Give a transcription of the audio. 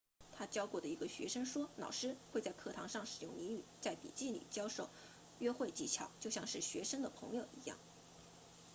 他教过的一个学生说老师会在课堂上使用俚语在笔记里教授约会技巧就像是学生的朋友一样